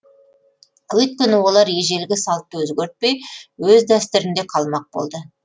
өйткені олар ежелгі салтты өзгертпей өз дәстүрінде қалмақ болды